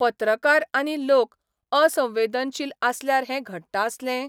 पत्रकार आनी लोक असंवेदनशील आसल्यार हैं घडटा आसलें?